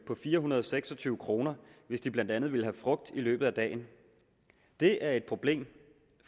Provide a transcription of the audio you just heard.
på fire hundrede og seks og tyve kr hvis de blandt andet vil have frugt i løbet af dagen det er et problem